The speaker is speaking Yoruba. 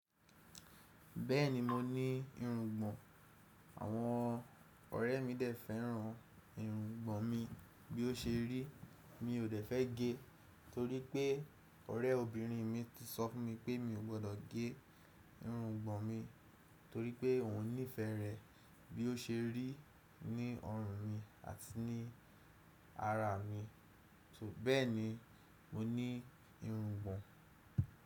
Bẹ́ẹ̀ni mo ní irungbọ̀n àwọn ọ̀rẹ́ mi dẹ̀ fẹ́ràn irungbọ̀n mi bí o ṣe rí. Mi ò dẹ̀ fẹ́ gẹ́ torí pé ọ̀rẹ́ obìnrin mi ti sọ fún mi pé mi ò gbọdọ̀ gé irungbọ̀n mi torí pé òun nífẹẹ rẹ̀ bí o ṣe rí ní ọrùn mi àti ní ara mi. Bẹ́ẹ̀ni mo ní irungbọ̀n.